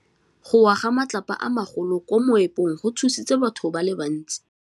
Go wa ga matlapa a magolo ko moepong go tshositse batho ba le bantsi.